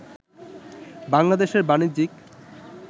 বাংলাদেশের বাণিজ্যিক